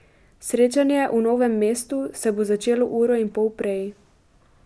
Srečanje v Novem mestu se bo začelo uro in pol prej.